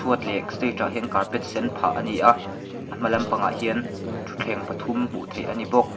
chhuat leh stage ah hian sen phah a ni a ahma lampangah hian thutthleng pathum hmuh theih a ni bawk.